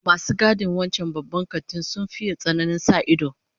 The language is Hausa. Masu gadin wancan Babban Kantin sun faye tsananin sa ido